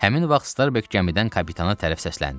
Həmin vaxt Starbek gəmidən kapitana tərəf səsləndi.